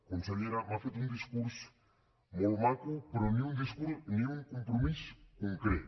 consellera m’ha fet un discurs molt maco però ni un compromís concret